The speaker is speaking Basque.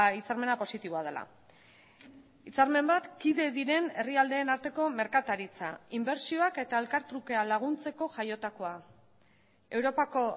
hitzarmena positiboa dela hitzarmen bat kide diren herrialdeen arteko merkataritza inbertsioak eta elkartrukea laguntzeko jaiotakoa europako